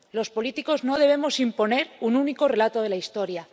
Los políticos no debemos imponer un único relato de la historia.